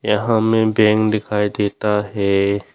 यहां मैं बैंक दिखाई देता है।